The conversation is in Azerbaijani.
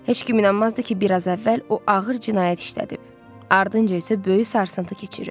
Heç kim inanmazdı ki, biraz əvvəl o ağır cinayət işlədib, ardınca isə böyük sarsıntı keçirib.